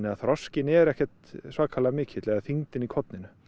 að þroskinn er ekkert svakalega mikill eða þyngdin í korninu